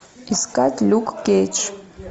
искать люк кейдж